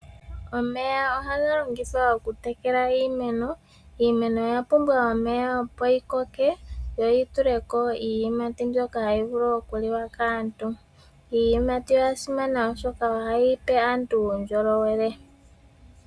Omeya ohaga longithwa oku tekela iimeno, iimeno oya pumbwa omeya opo yi koke yo yi tuleko iiyimati mbyoka hayi vulu oku liwa kaantu. Iiyimati oya simana oshoka oha yipe aantu uundjolowele.